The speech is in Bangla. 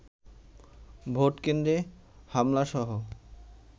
ভোট কেন্দ্রে হামলাসহ